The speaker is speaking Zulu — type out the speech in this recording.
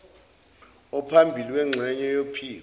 ophambili wengxenye yophiko